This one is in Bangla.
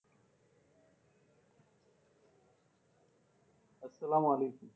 আসসালাময়ালেকুম,